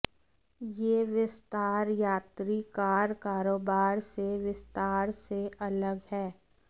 यह विस्तार यात्री कार कारोबार से विस्तार से अलग है